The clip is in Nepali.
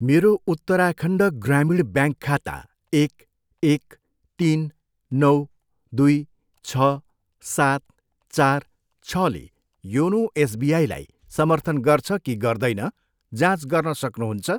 मेरो उत्तराखण्ड ग्रामीण ब्याङ्क खाता एक, एक, तिन, नौ, दुई, छ, सात, चार, छले योनो एसबिआईलाई समर्थन गर्छ कि गर्दैन, जाँच गर्न सक्नुहुन्छ?